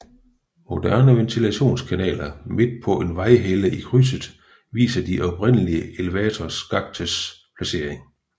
Moderne ventilationskanaler midt på en vejhelle i krydset viser de oprindelige elevatorskaktes placering